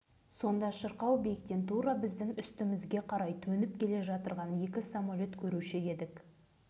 бала үшін бәрі қызық кейде дәл сынақ болар сәтті көргіміз келіп жарқабақтың сыртына талай рет жүгіріп шыққан кездеріміз